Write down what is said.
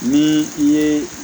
Ni i ye